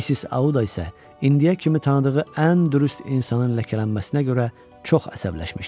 Missis Audasa indiyə kimi tanıdığı ən dürüst insanın ləkələnməsinə görə çox əsəbləşmişdi.